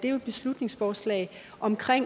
er et beslutningsforslag om